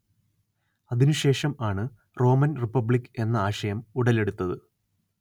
അതിനു ശേഷം ആണ് റോമൻ റിപ്പബ്ലിക്ക് എന്ന ആശയം ഉടലെടുത്തത്